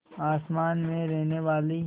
आसमान में रहने वाली